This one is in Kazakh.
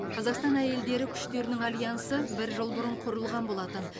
қазақстан әйелдері күштерінің альянсы бір жыл бұрын құрылған болатын